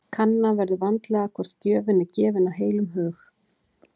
Kanna verður vandlega hvort gjöfin er gefin af heilum hug.